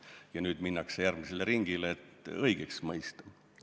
Ja nüüd minnakse järgmisele ringile, et õigeks mõista.